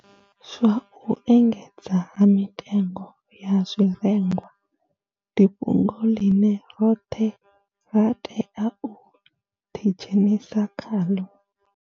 Zwa u engedzea ha mitengo ya zwirengwa ndi fhungo ḽine roṱhe ra tea u ḓidzhenisa khaḽo.